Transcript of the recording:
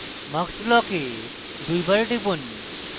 mux block দুইবার টিপুন